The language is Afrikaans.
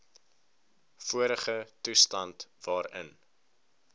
vorige toestand waarin